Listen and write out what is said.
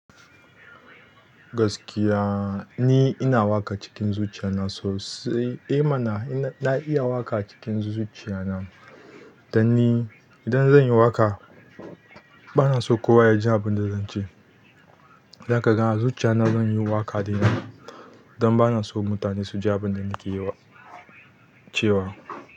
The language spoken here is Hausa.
Gaskiya ni ina waƙa cikin zuciya na sosai, eh mana na iya waƙa a cikin zuciya na. Dan ni idan zan yi waƙa bana so kowa ya ji abin da zan ce. Don kaga a zuciya na zan yi waƙa da yawa. Don bana so mutane su ji abin da nake yiwa, cewa.